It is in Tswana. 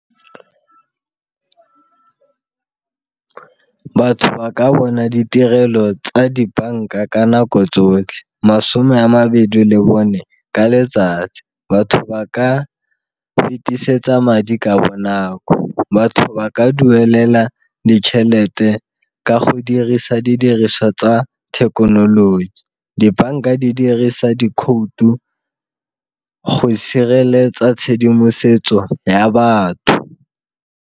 Batho ba ka bona ditirelo tsa dibanka ka nako tsotlhe, masome a mabedi le bone ka letsatsi batho ba ka go fetisetsa madi ka bonako. Batho ba ka duelela ditšhelete ka go dirisa didiriswa tsa thekenoloji, dibanka di dirisa dikhoutu go sireletsa tshedimosetso ya batho.